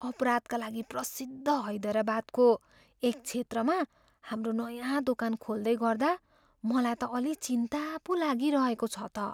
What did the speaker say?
अपराधका लागि प्रसिद्ध हैदराबादको एक क्षेत्रमा हाम्रो नयाँ दोकान खोल्दै गर्दा मलाई त अलि चिन्ता पो लागिरहेको छ त।